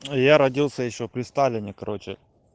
я родился ещё при сталине короче